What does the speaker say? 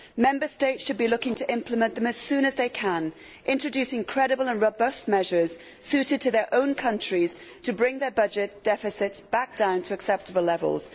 Member States should be looking to implement it as soon as they can, introducing credible and robust measures suited to their own countries to bring their budget deficits back down to acceptable levels.